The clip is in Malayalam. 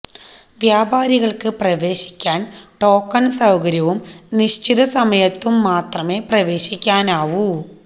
വ്യാപാരികൾക്ക് പ്രവേശിക്കാൻ ടോക്കൺ സൌകര്യവും നിശ്ചിത സമയത്തും മാത്രമേ പ്രവേശിക്കാനാവൂ